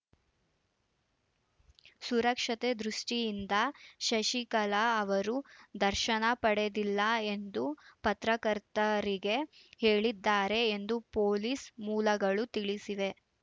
ಸುರಕ್ಷತೆ ದೃಷ್ಟಿಯಿಂದ ಶಶಿಕಲಾ ಅವರು ದರ್ಶನ ಪಡೆದಿಲ್ಲ ಎಂದು ಪತ್ರಕರ್ತರಿಗೆ ಹೇಳಿದ್ದಾರೆ ಎಂದು ಪೊಲೀಸ್‌ ಮೂಲಗಳು ತಿಳಿಸಿವೆ